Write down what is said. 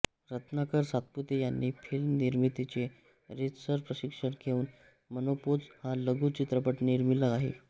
रत्नाकर सातपुते यांनी फिल्म निर्मितीचे रीतसर प्रशिक्षण घेवून मेनोपोज हा लघु चित्रपट निर्मिला आहे